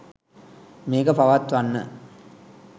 මේක පවත්වන්න.